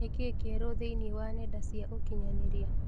Nikĩĩ kĩerũ thĩinĩ wa nenda cia ũkĩnyaniria